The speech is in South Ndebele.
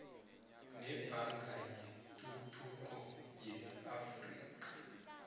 nebhanka yetuthuko yeafrika